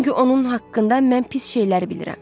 Çünki onun haqqında mən pis şeyləri bilirəm.